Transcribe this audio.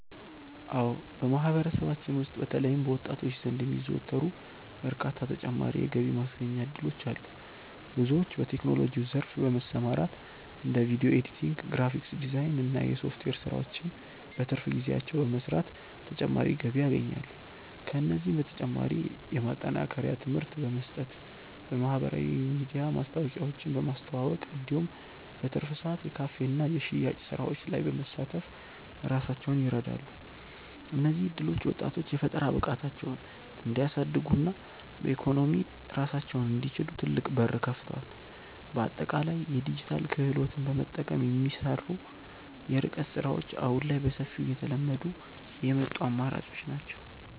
አዎ በማህበረሰባችን ውስጥ በተለይም በወጣቶች ዘንድ የሚዘወተሩ በርካታ ተጨማሪ የገቢ ማስገኛ እድሎች አሉ። ብዙዎች በቴክኖሎጂው ዘርፍ በመሰማራት እንደ ቪዲዮ ኤዲቲንግ፣ ግራፊክስ ዲዛይን እና የሶፍትዌር ስራዎችን በትርፍ ጊዜያቸው በመስራት ተጨማሪ ገቢ ያገኛሉ። ከእነዚህም በተጨማሪ የማጠናከሪያ ትምህርት በመስጠት፣ በማህበራዊ ሚዲያ ማስታወቂያዎችን በማስተዋወቅ እንዲሁም በትርፍ ሰዓት የካፌና የሽያጭ ስራዎች ላይ በመሳተፍ ራሳቸውን ይረዳሉ። እነዚህ እድሎች ወጣቶች የፈጠራ ብቃታቸውን እንዲያሳድጉና በኢኮኖሚ ራሳቸውን እንዲችሉ ትልቅ በር ከፍተዋል። በአጠቃላይ የዲጂታል ክህሎትን በመጠቀም የሚሰሩ የርቀት ስራዎች አሁን ላይ በሰፊው እየተለመዱ የመጡ አማራጮች ናቸው።